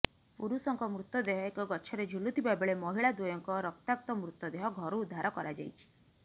ପୁରୁଷଙ୍କ ମୃତଦେହ ଏକ ଗଛରେ ଝୁଲୁଥିବା ବେଳେ ମହିଳା ଦ୍ବୟଙ୍କ ରକ୍ତାକ୍ତ ମୃତଦେହ ଘରୁ ଉଦ୍ଧାର କରାଯାଇଛି